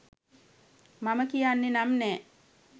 මම කියන්නේ නම් නෑ